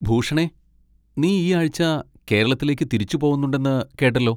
ഭൂഷണെ, നീ ഈ ആഴ്ച കേരളത്തിലേക്ക് തിരിച്ചുപോവുന്നുണ്ടെന്ന് കേട്ടല്ലോ.